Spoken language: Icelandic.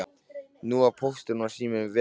Nú var Póstur og sími vegalaus.